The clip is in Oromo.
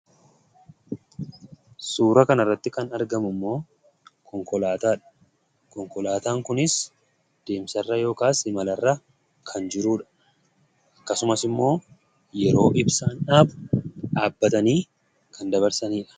Suuraa kanarratti kan argamummoo, konkolaataadha. Konkolaataan kunis deemsarra yookaas imalarra kan jirudha. Akkasumas immoo yeroo ibsaan dhaabu, dhaabbatanii kan dabarsanidha.